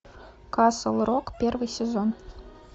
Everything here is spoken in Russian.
касл рок первый сезон